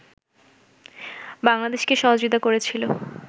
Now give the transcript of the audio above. বাংলাদেশকে সহযোগিতা করেছিল